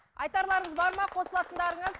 айтарларыңыз бар ма қосылатындарыңыз